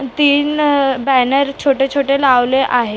तीन अ बॅनर छोटे छोटे लावलेले आहे.